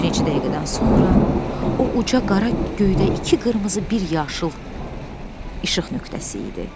Bir neçə dəqiqədən sonra o uca qara göydə iki qırmızı, bir yaşıl işıq nöqtəsi idi.